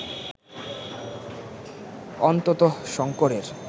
অন্ততঃ শঙ্করের